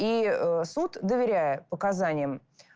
и суд доверяет показаниям